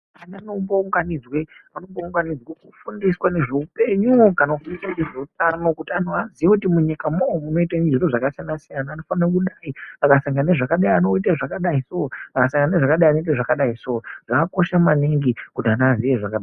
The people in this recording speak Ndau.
Vana pavanounganidzwa vanounganidzwa kufundiswa nezvehupenyu kana kufundiswa kuti vazive kuti munyikamo munoita zviro zvakasiyana siyana vanofana kudai vakaita zviro zvakadai vanodai so vakasangana nezvakadai vanodai so zvakakosha maningi kuti vana vaziye zvakadai.